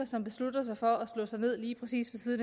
som beslutter sig for at slå sig ned lige præcis ved